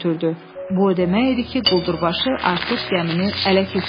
Bu o demək idi ki, quldurbaşı artıq gəmini ələ keçirib.